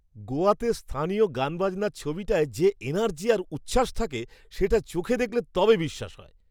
গোয়াতে স্থানীয় গানবাজনার ছবিটায় যে এনার্জি আর উচ্ছ্বাস থাকে সেটা চোখে দেখলে তবে বিশ্বাস হয়!